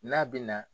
N'a bɛ na